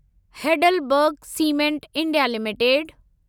Heidelberg cement India limited